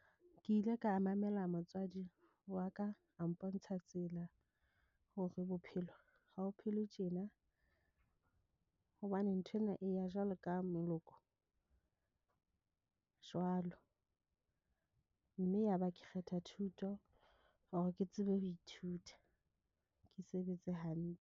Ke ile ka mamela motswadi wa ka a mpontsha tsela hore bophelo ha ho phelwe tjena. Hobane nthwena e ya jwalo ka jwalo mme yaba ke kgetha thuto or ke tsebe ho ithuta ke sebetse hantle.